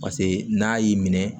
Paseke n'a y'i minɛ